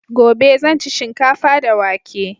Gobe zan ci shinkafa da wake